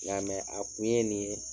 I y'a mɛ? A kun ye nin ye